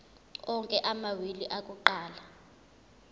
onke amawili akuqala